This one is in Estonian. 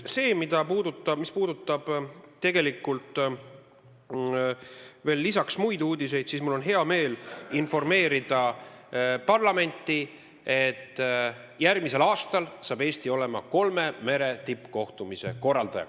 Mis puudutab muid uudiseid, siis mul on hea meel informeerida parlamenti, et järgmisel aastal on Eesti kolme mere tippkohtumise korraldaja.